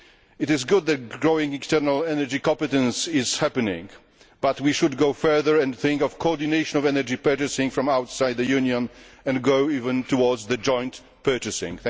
It is good that growing external energy competence is happening, but we should go further and think of coordinating energy purchasing from outside the Union and even go towards joint purchasing.